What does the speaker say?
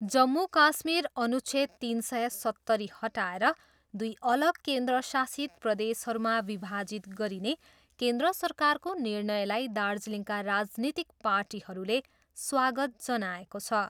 जम्मू काश्मीर अनुच्छेद तिन सय सत्तरी हटाएर दुई अलग केन्द्र शासित प्रदेशहरूमा विभाजित गरिने केन्द्र सरकारको निर्णयलाई दार्जिलिङका राजनीतिक पार्टीहरूले स्वागत जनाएको छ।